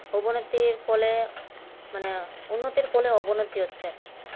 অবনতির ফলে মানে উন্নতির ফলে অবনতি হচ্ছে আর কি